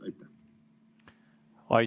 Aitäh!